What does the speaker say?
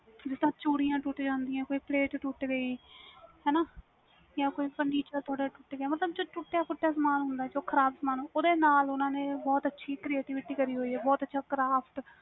ਜਿੰਦਾ ਚੂੜੀਆਂ ਟੁੱਟ ਜਾਂਦੀਆਂ ਨੇ ਜਾ ਪਲੇਟ ਹਾਣਾ ਜਾ ਕੋਈਂ furniture ਟੁੱਟ ਗਿਆ ਮਤਬਲ ਜੋ ਟੁੱਟਿਆ ਫੁੱਟਆਂ ਸਮਾਨ ਹੁੰਦਾ ਵ ਜੋ ਖ਼ਰਾਬ ਸਮਾਨ ਹੁੰਦਾ ਆ ਓਹਦੇ ਨਾਲ ਬਹੁਤ ਅੱਛੀ ceartivity ਕਰੀ ਹੋਈ ਵਾ